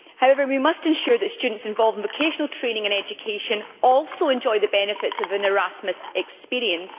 However, we must ensure that students involved in vocational training and education also enjoy the benefits of an Erasmus experience.